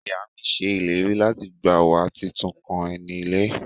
Iya mi se ileri lati gba wa titun kan eni ile.